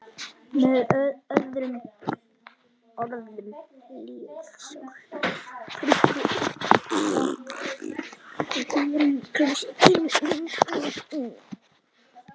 Með öðrum orðum lífið sjálft.